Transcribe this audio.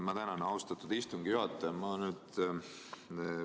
Ma tänan, austatud istungi juhataja!